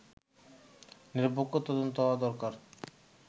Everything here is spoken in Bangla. নিরপেক্ষ তদন্ত হওয়া দরকার”